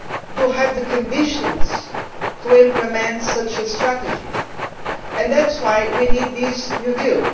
do have the conditions to implement such a strategy, and that is why we need this new deal.